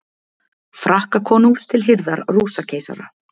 Frakkakonungs til hirðar Rússakeisara